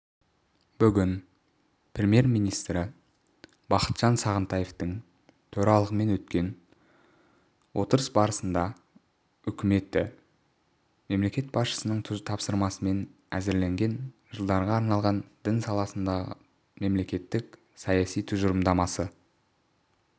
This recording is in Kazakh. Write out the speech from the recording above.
бүгін премьер-министрі бақытжан сағынтаевтың төрағалығымен өткен отырыс барысында үкіметі мемлекет басшысының тапсырмасымен әзірленген жылдарға арналған дін саласындағы мемлекеттік саясат тұжырымдамасы